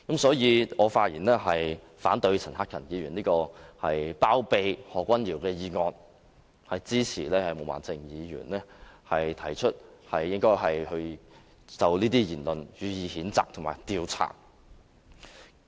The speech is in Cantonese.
所以，我發言反對陳克勤議員這項包庇何君堯議員的議案，支持毛孟靜議員提出應該就這些言論予以譴責及調查。